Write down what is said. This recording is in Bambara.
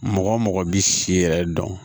Mɔgɔ mɔgɔ bi si yɛrɛ dɔn